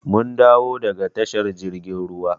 Mun dawo daga tashar jirgin ruwa.